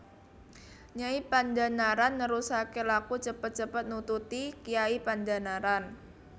Nyai Pandhanaran nerusaké laku cepet cepet nututi Kyai Pandhanaran